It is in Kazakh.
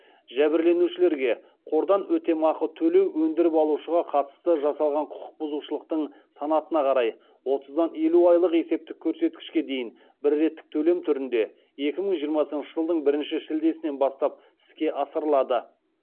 жәбірленушілерге қордан өтемақы төлеу өндіріп алышуға қатысты жасалған құқық бұзушылықтың санатына қарай отыздан елу айлық есептік көрсеткішке дейін бір реттік төлем түрінде екі мың жиырмасыншы жылдың бірінші шілдесінен бастап іске асырылады